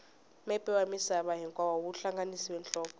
mepe wa misava hinkwayo wu hlanganisa nhloko